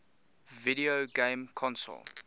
video game console